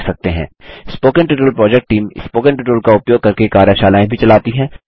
spoken tutorial project team spoken tutorial का उपयोग करके कार्यशालाएँ भी चलाती है